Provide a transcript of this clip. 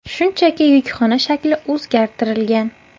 Shuningdek, yukxona shakli o‘zgartirilgan.